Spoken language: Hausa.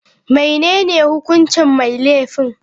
Menene hukuncin mai laifin?